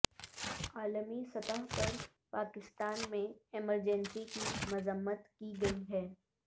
عالمی سطح پر پاکستان میں ایمرجنسی کی مذمت کی گئی ہے